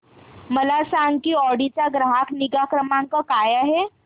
मला सांग की ऑडी चा ग्राहक निगा क्रमांक काय आहे